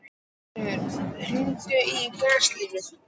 Sigfríð, hringdu í Gíslalínu.